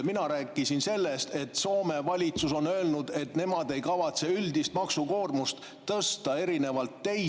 Mina rääkisin sellest, et Soome valitsus on öelnud, et nemad ei kavatse üldist maksukoormust tõsta erinevalt teist.